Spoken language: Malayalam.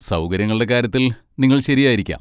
സൗകര്യങ്ങളുടെ കാര്യത്തിൽ നിങ്ങൾ ശരിയായിരിക്കാം.